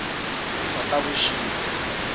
khotavuxika